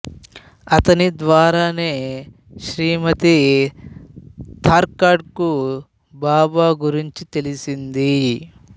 అతని ద్వారానే శ్రీమతి తార్కాడ్ కు బాబా గురించి తెలిసింది